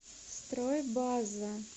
стройбаза